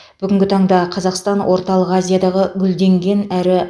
бүгінгі таңда қазақстан орталық азиядағы гүлденген әрі